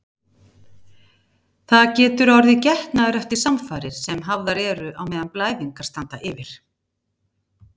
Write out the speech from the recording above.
Það getur orðið getnaður eftir samfarir sem hafðar eru á meðan blæðingar standa yfir.